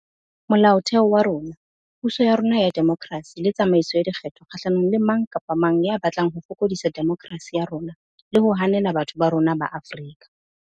Mola otheo wa rona, puso ya rona ya demokerasi le tsamaiso ya dikgetho kgahlanong le mang kapa mang ya batlang ho fokodisa demokerasi ya rona le ho hanela batho ba rona ba Afrika